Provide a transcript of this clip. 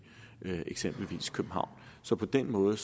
eksempelvis københavn så på den måde